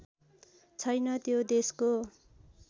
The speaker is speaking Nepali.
छैन त्यो देशको